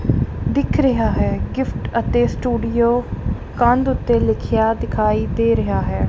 ਦਿੱਖ ਰਿਹਾ ਹੈ ਗਿਫ਼ਟ ਅਤੇ ਸਟੂਡੀਓ ਕੰਧ ਓੱਤੇ ਲਿਖੇਆ ਦਿਖਾਈ ਦੇ ਰਿਹਾ ਹੈ।